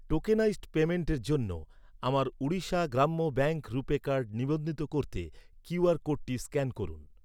Tokenised পেইমেন্টের জন্য আমার ওড়িশা গ্রাম্য ব্যাঙ্ক রুপে কার্ড নিবন্ধিত করতে কিউআর কোডটি স্ক্যান করুন।